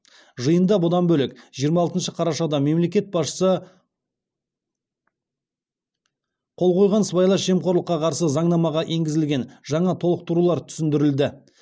жиында бұдан бөлек жиырма алты қарашада мемлекет басшысы қол қойған сыбайлас жемқорлыққа қарсы заңнамаға енгізілген жаңа толықтырулар түсіндірілді